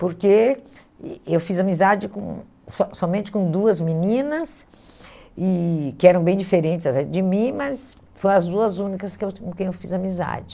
Porque eh eu fiz amizade com só somente com duas meninas, e que eram bem diferentes de mim, mas foram as duas únicas que eu com quem eu fiz amizade.